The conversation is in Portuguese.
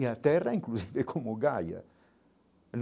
E a terra, inclusive, como gaia.